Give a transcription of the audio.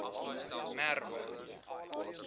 merwe